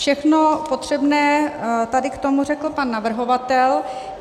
Všechno potřebné tady k tomu řekl pan navrhovatel.